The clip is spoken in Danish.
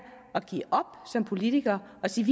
at give op som politikere og sige